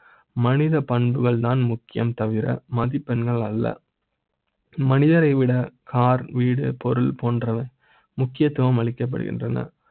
மனித பண்புகள் தான் முக்கிய ம். தவிர மதிப்பெண்கள் அல்ல மனிதரை விட கார், வீடு, பொருள் போன்ற வை முக்கியத்துவ ம் அளிக்க ப்படுகின்றன